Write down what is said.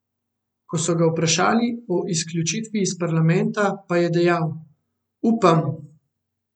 Ko so ga vprašali o izključitvi iz parlamenta, pa je dejal: "Upam!